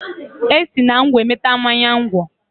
E si na ngwọ enweta mmanya ngwọ.